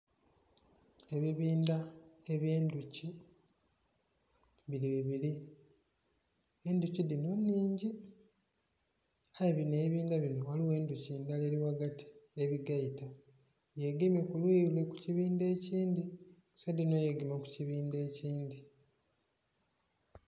Ebibindha ebye ndhuki biri bibiri, endhuki dhino nnhingi aye bino ebibindha bino ghaligho endhuki ndala ebigaita, yegemye kukuyi lule ku kibindha ekindhi saidi dhino yegema ku kibindha ekindhi.